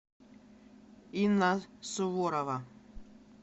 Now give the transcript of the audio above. инна суворова